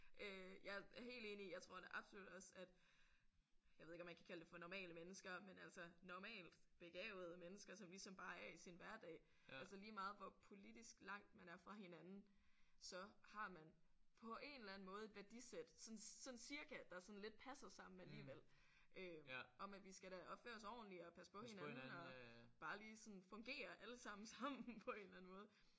Øh jeg er helt enig jeg tror da absolut også at jeg ved ikke om man kan kalde det for normale mennesker men altså normalt begavede mennesker som ligesom bare er i sin hverdag altså lige meget hvor politisk langt man er fra hinanden så har man på en eller anden måde et værdisæt sådan sådan cirka der sådan lidt passer sammen alligevel øh om at vi skal da opføre os ordenligt og passe på hinanden og bare lige sådan fungere alle sammen sammen på en eller anden måde